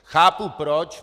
Chápu proč.